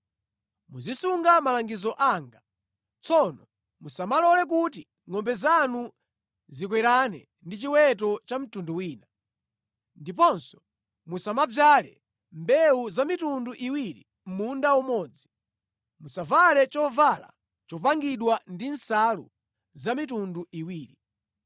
“ ‘Muzisunga malangizo anga. “ ‘Tsono musamalole kuti ngʼombe zanu zikwerane ndi chiweto cha mtundu wina. “ ‘Ndiponso musamadzale mbewu za mitundu iwiri mʼmunda umodzi. “ ‘Musavale chovala chopangidwa ndi nsalu za mitundu iwiri.